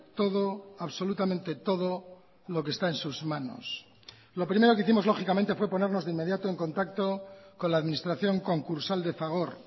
todo absolutamente todo lo que está en sus manos lo primero que hicimos lógicamente fue ponernos de inmediato en contacto con la administración concursal de fagor